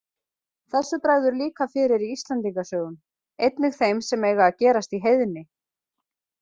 Þessu bregður líka fyrir í Íslendinga sögum, einnig þeim sem eiga að gerast í heiðni.